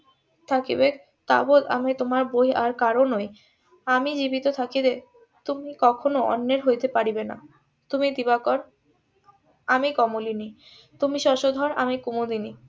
থাকিবে তাবৎ আমি তোমার বই আর কারোর নই আমি জীবিত থাকিলে তুমি কখনো অন্যের হইতে পারিবে না তুমি দিবাকর আমি কমলিনী তুমি শশধর আমি কুমুদিনী